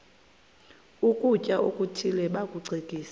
ukutya okuthile bakucekise